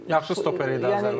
Yəni yaxşı stoper idi Azər Məmmədov.